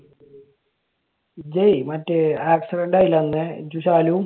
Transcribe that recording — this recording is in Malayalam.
ഇജ്ജെ മറ്റേ accident ആയില്ലേ അന്ന്? ഇജ്ജും ശാലുവും.